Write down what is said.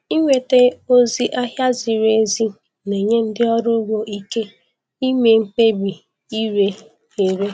Ịnweta ozi ahịa ziri ezi na-enye ndị ọrụ ugbo ike ime mkpebi ịre ere.